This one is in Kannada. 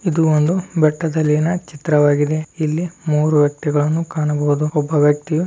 ಇದು ಒಂದು ಬೆಟ್ಟದಲ್ಲಿನ ಚಿತ್ರವಾಗಿದೆ. ಇಲ್ಲಿ ಮೂರು ವ್ಯಕ್ತಿಗಳನ್ನು ಕಾಣಬಹುದು. ಒಬ್ಬ ವ್ಯಕ್ತಿಯು --